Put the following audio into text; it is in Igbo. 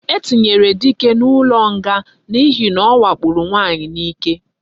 E tinyere dike na ulo nga na ihe na owakporo nwanyi na ike